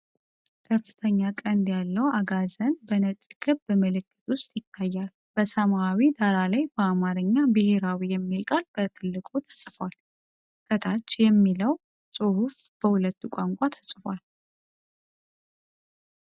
ከፍተኛ ቀንድ ያለው አጋዘን በነጭ ክብ ምልክት ውስጥ ይታያል። በሰማያዊ ዳራ ላይ በአማርኛ "ብሔራዊ" የሚለው ቃል በትልቁ ተጽፏል። ከታች "NATIONAL ALCOHOL & LIQUOR FACTORY" የሚለው ጽሑፍ በሁለት ቋንቋዎች ተቀምጧል።